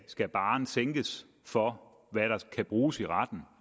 skal barren sænkes for hvad der kan bruges i retten